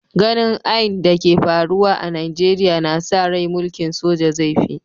Ganin ain da ke faruwa a'Nijeriya na sa rai mulki'n soja zai fi